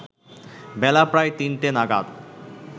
বেলা প্রায় তিনটে নাগাদ